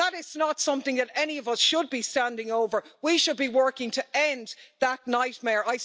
That is not something that any of us should be standing over we should be working to end that nightmare.